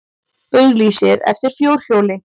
Auglýsir eftir fjórhjóli